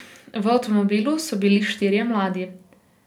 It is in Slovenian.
V avtomobilu so bili štirje mladi.